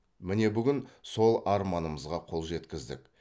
міне бүгін сол арманымызға қол жеткіздік